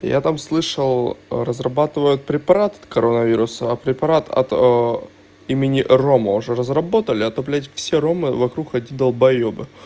я там слышал а разрабатывают препарат от коронавируса а препарат от имени рома уже разработали а то блять все ромы вокруг одни долбаёбы